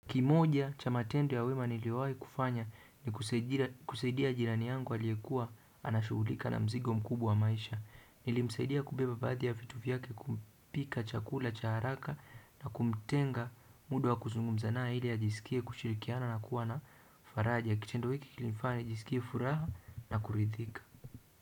Kimoja cha matendo ya wema niliwahi kufanya ni kusaidia jirani yangu aliyekuwa anashughulika na mzigo mkubwa wa maisha. Nilimsaidia kubeba baadhi ya vitu vyake kupika chakula cha haraka na kumtenga muda wa kuzungumza naye ili ajisikie kushirikiana na kuwa na faraja. Kitendo hiki kilifanya nijiskie furaha na kuridhika.